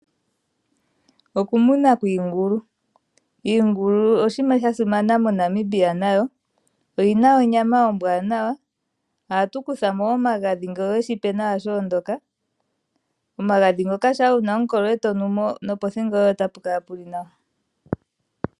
Okumuna kwiingulu. Iingulu oshinima sha simana moNamibia, nayo oyi na onyama ombwanawa. Ohatu kutha mo omagadhi ngele oweshi he nawa sha ondoka. Omagadhi ngoka shampa wuna omukolo e to nu mo, nopothingo yoye ota pu kala pu li nwa.